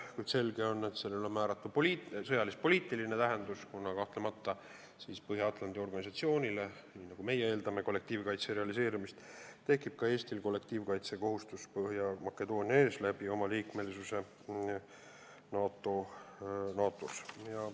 Kuid selge on, et sellel on määratu sõjalis-poliitiline tähendus, kuna kahtlemata me eeldame Põhja-Atlandi Lepingu Organisatsioonilt kollektiivkaitse realiseerumist ja nii tekib ka Eestil kollektiivkaitsekohustus Põhja-Makedoonia ees liikmesuse tõttu NATO-s.